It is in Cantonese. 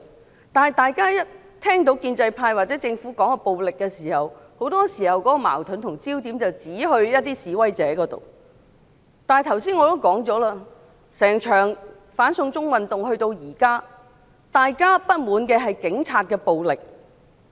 可是，每當大家聽到建制派或政府談論暴力時，很多時候他們會將矛盾和焦點指向示威者，但我剛才已指出，整場"反送中"運動直到現在，大家不滿的是警察的暴力。